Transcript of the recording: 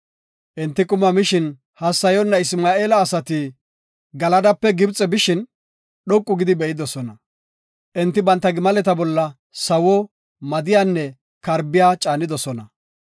Enti kathi mishin hassayoona Isma7eela asati Galadape Gibxe bishin, dhoqu gidi be7idosona. Enti banta gimaleta bolla sawuwa, madiyanne karbiya caanidosona.